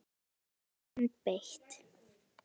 Stutt sverð, en beitt.